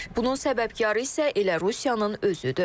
Bunun səbəbkarı isə elə Rusiyanın özüdür.